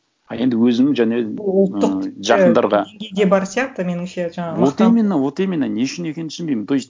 ы енді өзім және ұлттық бар сияқты меніңше жаңағы вот именно вот именно не үшін екенін түсінбеймін то есть